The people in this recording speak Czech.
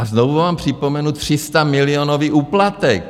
A znovu vám připomenu 300milionový úplatek.